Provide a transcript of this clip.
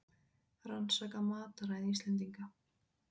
Rannsaka mataræði Íslendinga